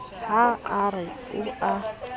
ha a re o a